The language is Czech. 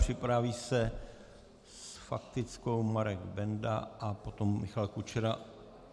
Připraví se s faktickou Marek Benda a potom Michal Kučera.